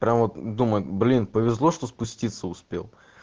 прям вот думаю блин повезло что спуститься успел